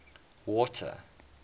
water